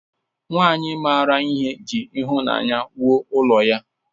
Nwanyị mara ihe ji ịhụnanya wuo ụlọ ya.